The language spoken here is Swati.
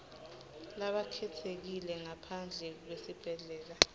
labakhetsekile ngaphandle kwesibhedlela